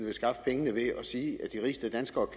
vil skaffe pengene ved at sige at de rigeste danskere